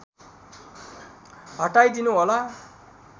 हटाई दिनु होला